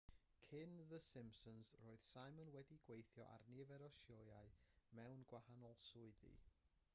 cyn the simpsons roedd simon wedi gweithio ar nifer o sioeau mewn gwahanol swyddi